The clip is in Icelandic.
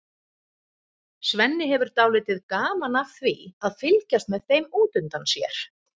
Svenni hefur dálítið gaman af því að fylgjast með þeim út undan sér.